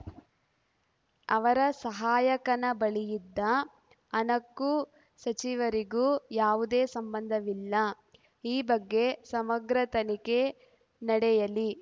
ಅವರ ಸಹಾಯಕನ ಬಳಿ ಇದ್ದ ಹಣಕ್ಕೂ ಸಚಿವರಿಗೂ ಯಾವುದೇ ಸಂಬಂಧವಿಲ್ಲ ಈ ಬಗ್ಗೆ ಸಮಗ್ರ ತನಿಖೆ ನಡೆಯಲಿ